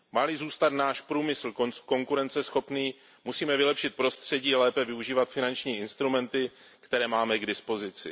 Má li zůstat náš průmysl konkurenceschopný, musíme vylepšit prostředí, lépe využívat finanční instrumenty, které máme k dispozici.